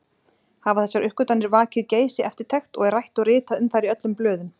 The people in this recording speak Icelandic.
Hafa þessar uppgötvanir vakið geisi-eftirtekt og er rætt og ritað um þær í öllum blöðum.